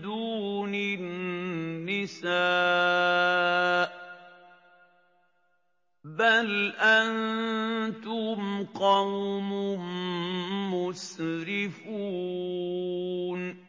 دُونِ النِّسَاءِ ۚ بَلْ أَنتُمْ قَوْمٌ مُّسْرِفُونَ